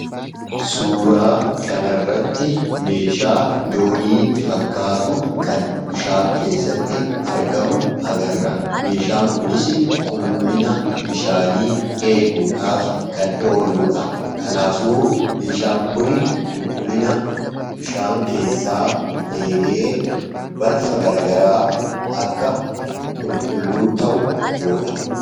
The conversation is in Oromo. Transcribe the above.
Suuraa kanarratti meeshaa doonii fakkaatu kan bishaan keessatti argamu agarra. Meeshaan kunisi qulqullina bishaanii eeguudhaaf kan ooluu dha. Kanaafuu, meeshaan kuni qulqullina bishaan keessaa eegee balfa garagaraa akka qulqulluu ta'u godha.